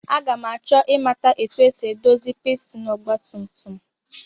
Aga m achọ ịmata etu e si edozi pistin ọgbatumtum